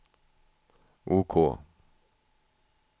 OK